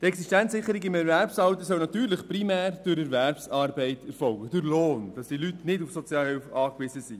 Die Existenzsicherung im Erwerbsalter soll natürlich primär durch Erwerbsarbeit, durch Lohn, erfolgen, damit die Leute nicht auf Sozialhilfe angewiesen sind.